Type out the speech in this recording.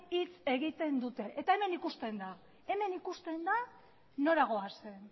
hitz egiten dute eta hemen ikusten da hemen ikusten da nora goazen